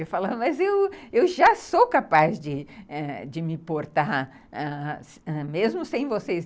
Eu falava, mas eu eu já sou capaz de ãh me portar, mesmo sem vocês.